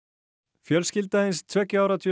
fjölskylda hins tveggja ára